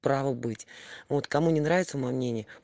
право быть вот кому не нравится моё мнение